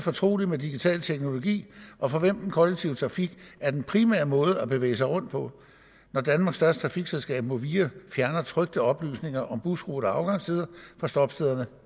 fortrolige med digital teknologi og for hvem den kollektive trafik er den primære måde at bevæge sig rundt på når danmarks største trafikselskab movia fjerner trykte oplysninger om busruter og afgangstider fra stoppestederne